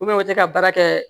u tɛ ka baara kɛ